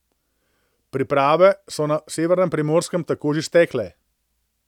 Priprave so na severnem Primorskem tako že stekle.